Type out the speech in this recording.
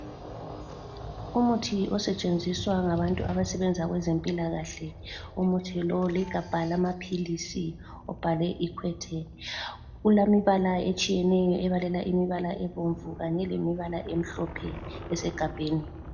Umuthi osetshenziswa ngabantu abasebenza kwezempilakahle. Umuthi lo ligabha lamaphilisi obhalwe equate. Ulemibala etshiyeneyo ebalela imibala ebomvu kanye lemibala emhlophe esegabheni.